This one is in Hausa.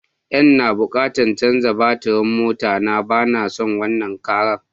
N'na bukatan chanzar batirin mota na, ba na son wanan Karan.